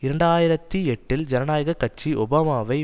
இரண்டு ஆயிரத்தி எட்டில் ஜனநாயக கட்சி ஒபாமாவை